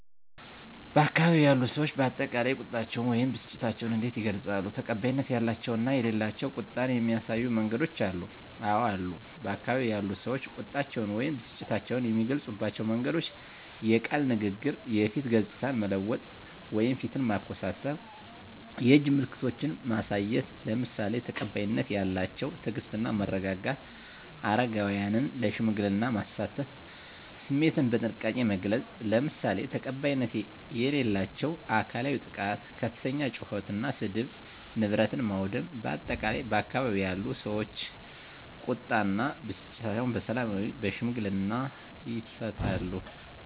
በአካባቢው ያሉ ሰዎች በአጠቃላይ ቁጣቸውን ወይም ብስጭታቸውን እንዴት ይገልጻሉ? ተቀባይነት ያላቸው እና የሌላቸው ቁጣን የሚያሳዩ መንገዶች አሉ? *አወ አሉ፦ በአካባቢው ያሉ ሰዎች ቁጣቸውን ወይም ብስጭታቸውን የሚገልጹባቸው መንገዶች፦ * የቃል ንግግር *የፊት ገጽታን መለወጥ (ፊትን ማኮሳተር)፣ *የእጅ ምልክቶችን ማሳየት፣ **ለምሳሌ፦ ተቀባይነት ያላቸው * ትዕግስት እና መረጋጋት: * አረጋውያንን ለሽምግልና ማሳተፍ።: * ስሜትን በጥንቃቄ መግለጽ: **ለምሳሌ፦ ተቀባይነት የሌላቸው * አካላዊ ጥቃት * ከፍተኛ ጩኸት እና ስድብ: * ንብረት ማውደም: በአጠቃላይ፣ ባካባቢው ያሉ ሰዎች ቁጣ እና ብስጭታቸውን በሰላማዊና በሽምግልና ይፈታሉ።